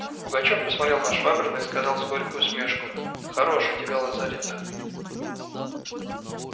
пугачёв посмотрел на швабрина и сказал с горькой усмешкою хорош у тебя лазарет